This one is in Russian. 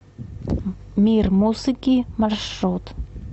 мир музыки маршрут